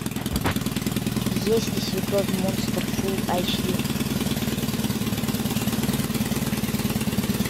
если свекровь монстр фул эйч ди